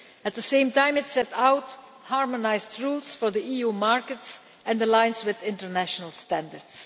At the same time, it sets out harmonised rules for the EU markets and aligns with international standards.